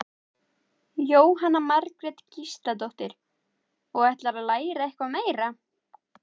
Jóhanna Margrét Gísladóttir: Og ætlarðu svo að læra eitthvað meira?